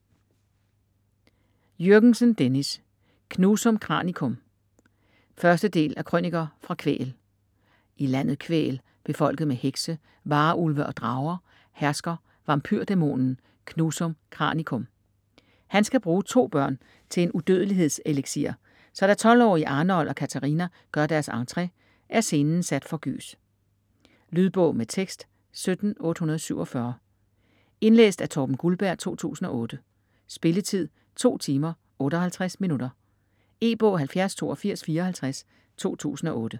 Jürgensen, Dennis: Knusum Kranikum 1. del af Krøniker fra Kvæhl. I landet Kvæhl - befolket med hekse, varulve og drager - hersker vampyrdæmonen Knusum Kranikum. Han skal bruge to børn til en udødelighedseliksir, så da 12-årige Arnold og Catharina gør deres entré, er scenen sat for gys. Lydbog med tekst 17847 Indlæst af Torben Guldberg, 2008. Spilletid: 2 timer, 58 minutter. E-bog 708254 2008.